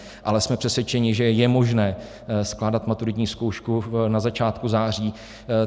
Ale jsme přesvědčeni, že je možné skládat maturitní zkoušku na začátku září.